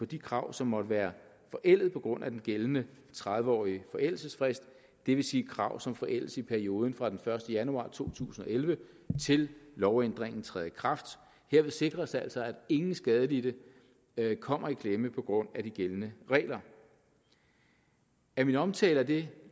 de krav som måtte være forældet på grund af den gældende tredive årige forældelsesfrist det vil sige krav som forældes i perioden fra den første januar to tusind og elleve til lovændringen træder i kraft herved sikres altså at ingen skadelidte kommer i klemme på grund af de gældende regler af min omtale af det